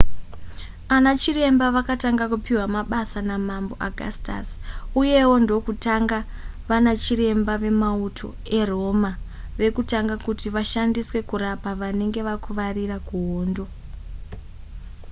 ana chiremba vakatanga kupiwa mabasa namambo augustus uyewo ndokutanga vanachiremba vemauto eroma vekutanga kuti vashandiswe kurapa vanenge vakuvarira kuhondo